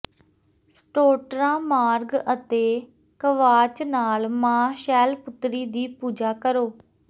ਸਟੌਟ੍ਰਾ ਮਾਰਗ ਅਤੇ ਕਵਾਚ ਨਾਲ ਮਾਂ ਸ਼ੈਲਪੁਤਰੀ ਦੀ ਪੂਜਾ ਕਰੋ